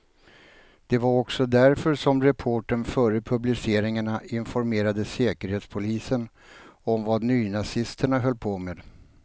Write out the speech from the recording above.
Det var också därför som reportern före publiceringarna informerade säkerhetspolisen om vad nynazisterna höll på med.